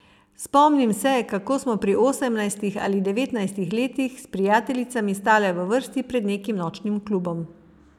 Spomnim se, kako smo pri osemnajstih ali devetnajstih letih s prijateljicami stale v vrsti pred nekim nočnim klubom.